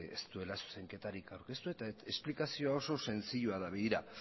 ez duela zuzenketarik aurkeztu eta esplikazioa oso erraza da begira